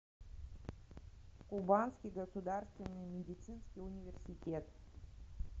кубанский государственный медицинский университет